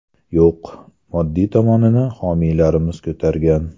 Yo‘q, moddiy tomonini homiylarimiz ko‘targan.